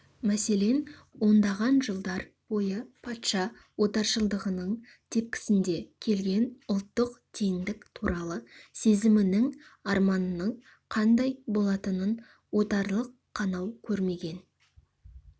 мәселен ондаған жылдар бойы патша отаршылдығының тепкісінде келген ұлттық теңдік туралы сезімінің арманының қандай болатынын отарлық қанау көрмеген